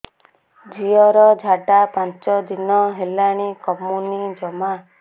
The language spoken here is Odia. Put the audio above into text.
ଝିଅର ଝାଡା ପାଞ୍ଚ ଦିନ ହେଲାଣି କମୁନି ଜମା